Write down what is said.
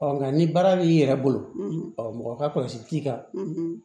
nka ni baara b'i yɛrɛ bolo mɔgɔ ka kɔlɔsi t'i kan